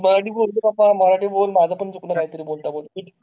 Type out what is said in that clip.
अहो मराठी बोल बाबा माझं पण चुकलं काय तरी बोलता बोलता